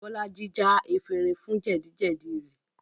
Bolaji já efinrin fún jẹ́dì-jẹ́dì rẹ̀